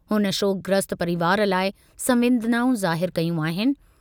हुन शोकग्रस्त परिवार लाइ संवेदनाऊं ज़ाहिर कयूं आहिनि।